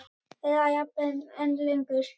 Eða jafnvel enn lengur.